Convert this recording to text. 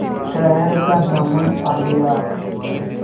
शहर का दामन आ गया